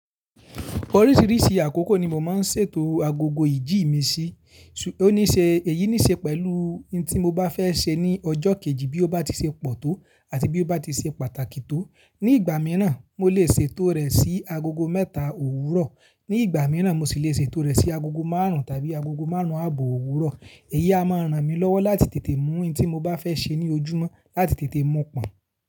Oríṣìriṣì àkókò ni mo máa ń ṣètò agogo ìjì mi sí. Òníṣe, èyí níṣe pẹ̀lú n tí mo bá fẹ́ ṣe ní ọjọ́ kejì bí ó bá ti ṣe pọ̀ tó àti bí ó bá ti ṣe pàtàkì tó. Ní ìgbà míràn, mo lè ṣètò rẹ̀ sí agogo mẹ́ta òwúrọ̀. Ní ìgbà mìràn, mo sì le ṣètò rẹ̀ sí agogo márùn tàbí agogo márùn àbọ̀ òwúrọ̀. Èyí a máa ràn mí lọ́wọ́ láti tètè mu n tí mo bá fẹ́ ṣe ní ojúmọ́, láti tètè mọ pọ́n.